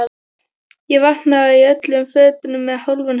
Ég vaknaði í öllum fötunum með hálfan haus.